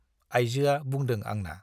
आइजोआ बुंदों आंना।